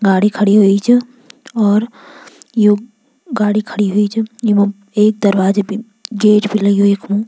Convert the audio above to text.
गाड़ी खड़ीं होईं च और यु गाड़ी खड़ीं होईं च येमा एक दरवाजा भी गेट भी लग्युं यख्मु।